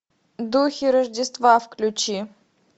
духи рождества включи